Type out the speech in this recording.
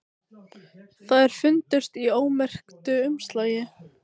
Þær fundust í ómerktu umslagi